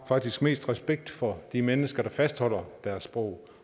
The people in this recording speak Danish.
faktisk mest respekt for de mennesker der fastholder deres sprog